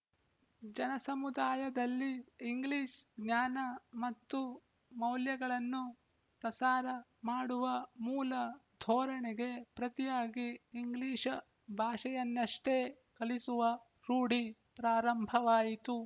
ಜನಸಮುದಾಯದಲ್ಲಿ English ಜ್ಞಾನ ಮತ್ತು ಮೌಲ್ಯಗಳನ್ನು ಪ್ರಸಾರ ಮಾಡುವ ಮೂಲ ಧೋರಣೆಗೆ ಪ್ರತಿಯಾಗಿ ಇಂಗ್ಲಿಶ ಭಾಷೆಯನ್ನಷ್ಟೇ ಕಲಿಸುವ ರೂಢಿ ಪ್ರಾರಂಭವಾಯಿತು